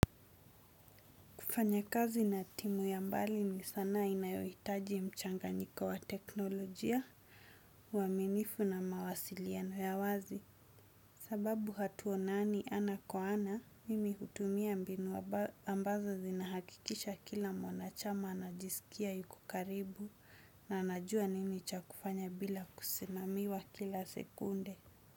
Kufanya kazi na timu ya mbali ni sanaa inayohitaji mchanganyiko wa teknolojia uaminifu na mawasiliano ya wazi. Sababu hatuonani ana kwa ana, mimi hutumia mbinu ambazo zinahakikisha kila mwanachama anajisikia yuko karibu na anajua nini cha kufanya bila kusimamiwa kila sekunde.